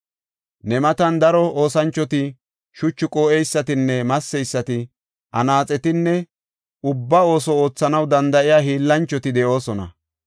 Ne matan daro oosanchoti shuchu qoo7eysatinne masseysati, anaaxetinne ubba ooso oothanaw danda7iya hiillanchoti de7oosona.